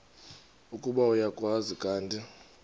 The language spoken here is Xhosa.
ukuba uyakwazi kanti